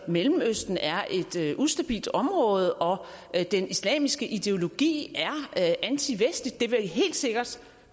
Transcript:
mellemøsten er et ustabilt område og den islamiske ideologi er antivestlig det vil helt sikkert